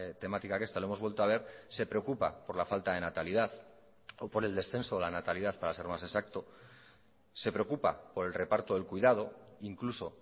temática que esta lo hemos vuelto a ver se preocupa por la falta de natalidad o por el descenso de la natalidad para ser más exacto se preocupa por el reparto del cuidado incluso